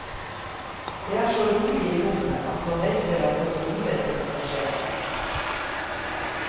Det er så rolig i rommet at man venter at noe uventet skal skje.